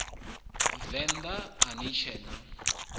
venḓa a ni tshee na